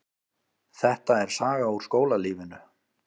Þetta er saga úr skólalífinu.